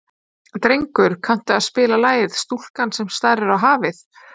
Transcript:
Drengur, kanntu að spila lagið „Stúlkan sem starir á hafið“?